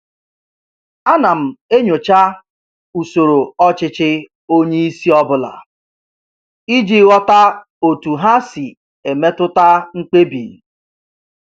Ana m enyocha usoro ọchịchị onye isi ọbụla iji ghọta otu ha si emetụta mkpebi